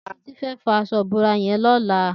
Titi fẹ̀ fọ aṣọ ibórá yèn lọlá